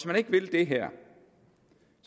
man ikke vil det her